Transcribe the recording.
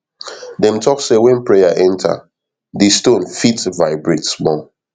dem talk say when prayer enter di stone fit vibrate small